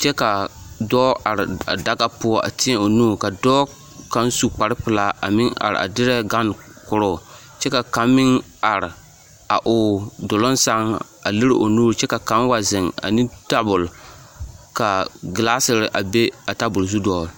kyɛ ka dɔɔ are a daga poɔ a tēɛ o nu ka dɔɔ kaŋ su kpare pelaa a meŋ are a derɛ gane koroo kyɛ ka kaŋ meŋ are a o duluŋ sɛŋ a lere o nuuri kyɛ ka kaŋ wa zeŋ ane tabol ka gelaasere a be a tabol zu dɔgele.